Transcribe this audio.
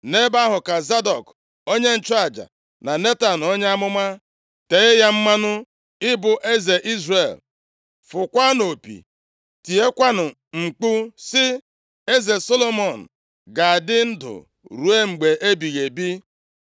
Nʼebe ahụ, ka Zadọk onye nchụaja, na Netan onye amụma, tee ya mmanụ ịbụ eze Izrel. Fụkwaanụ opi, tiekwanụ mkpu sị, ‘Eze Solomọn ga-adị ndụ ruo mgbe ebighị ebi.’